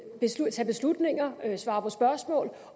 tage beslutninger svare på spørgsmål